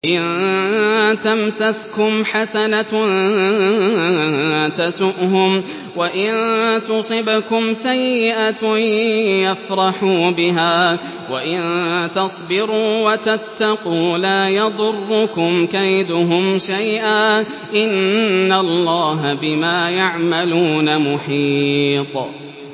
إِن تَمْسَسْكُمْ حَسَنَةٌ تَسُؤْهُمْ وَإِن تُصِبْكُمْ سَيِّئَةٌ يَفْرَحُوا بِهَا ۖ وَإِن تَصْبِرُوا وَتَتَّقُوا لَا يَضُرُّكُمْ كَيْدُهُمْ شَيْئًا ۗ إِنَّ اللَّهَ بِمَا يَعْمَلُونَ مُحِيطٌ